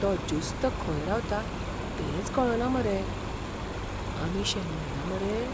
तो ज्युस्त खंय रावता तेंच कळना मरे. आमी शेणले ना मरे?